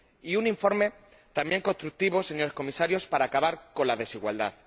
Y un informe también constructivo, señores Comisarios, para acabar con la desigualdad.